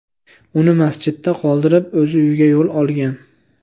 Uni masjidda qoldirib, o‘zi uyga yo‘l olgan.